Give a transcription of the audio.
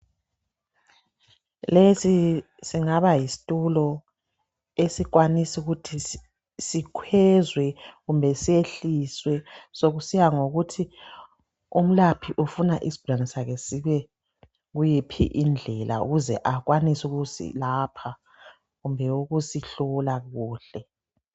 Lesi singaba yisitulo esikwanisa ukuthi sikhwezwe kumbe sehliswe sokusiya ngokuthi umlaphi ufuna isigulane sakhe sibe kuyiphi indlela ukuze akwanise ukusilapha kumbe ukusihlola kuhle